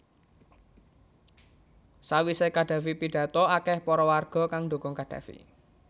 Sawise Qaddafi pidhato akeh para warga kang ndukung Qaddafi